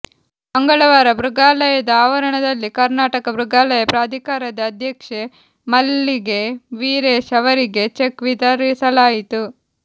ಮಂಗಳವಾರ ಮೃಗಾಲಯದ ಆವರಣದಲ್ಲಿ ಕರ್ನಾಟಕ ಮೃಗಾಲಯ ಪ್ರಾಧಿಕಾರದ ಅಧ್ಯಕ್ಷೆ ಮಲ್ಲಿಗೆ ವೀರೇಶ್ ಅವರಿಗೆ ಚೆಕ್ ವಿತರಿಸಲಾಯಿತು